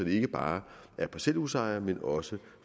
det ikke bare er parcelhusejere men også